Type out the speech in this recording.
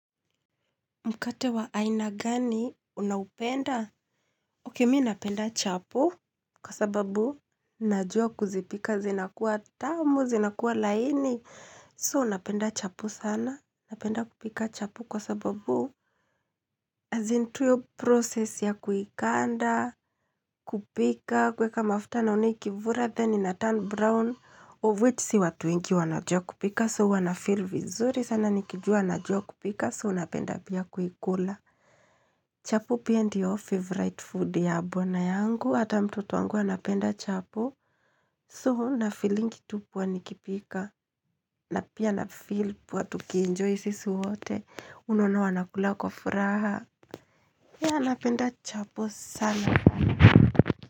Mkate wa aina gani unaupenda? Ok, mi napenda chapo. Kwa sababu, najua kuzipika zinakuwa tamu, zinakuwa laini. So, napenda chapo sana. Napenda kupika chapo kwa sababu, as in tu hiyo process ya kuikanda, kupika, kuweka mafuta naona ikivura, then inaturn brown, of which si watu wengii wanajua kupika. So, huwa nafeel vizuri sana. Nikijua, najua kupika. So, napenda pia kuikula. Chapo pia ndio favorite food ya bwana yangu, hata mtoto wangu anapenda chapo, so na feelingi tu poa nikipika, na pia na feel poa tukienjoy sisi wote, unaona wanakula kwa furaha, ya napenda chapo sana.